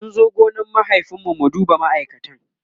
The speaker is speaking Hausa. mun zo gonan mahaifin mu mu duba ma'aikatan